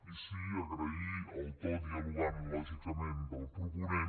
i sí agrair el to dialogant lògicament del proponent